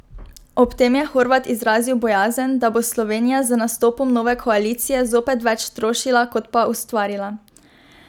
Ob tem je Horvat izrazil bojazen, da bo Slovenija z nastopom nove koalicije zopet več trošila kot pa ustvarila.